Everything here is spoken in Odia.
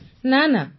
ପୁନମ ନୌଟିଆଲ ନା